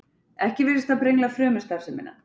ekki virðist það brengla frumustarfsemina